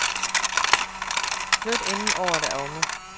Flyt inden året er omme.